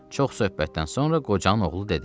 Çox söhbətdən sonra qocanın oğlu dedi: